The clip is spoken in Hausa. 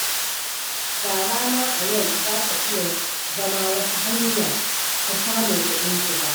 Shara ma a yau za ta iya zama wata hanya ta samun kuɗin shiga.